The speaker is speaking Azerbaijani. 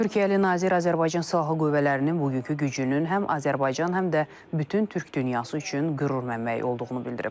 Türkiyəli nazir Azərbaycan Silahlı Qüvvələrinin bugünkü gücünün həm Azərbaycan, həm də bütün türk dünyası üçün qürur mənbəyi olduğunu bildirib.